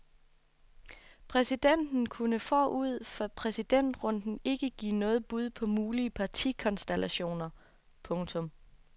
Præsidenten kunne forud for præsidentrunden ikke give noget bud på mulige partikonstellationer. punktum